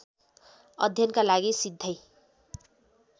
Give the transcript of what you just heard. अध्ययनका लागि सिधै